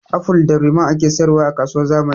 Aful da ruman ake sayar wa a kasuwar zamani